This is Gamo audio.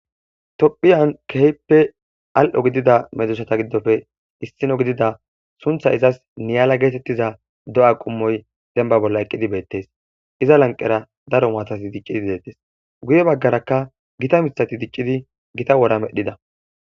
Tophphiyan keehippe al7o gidida medosata giddoppe issino gidida sunthay izas niyala giza do7a qommoy demba bolla eqqidi beettees ,iza lanqera daro maatati diccidi deettees guye baggaraka gita miththati diccidi gita wora medhdhida.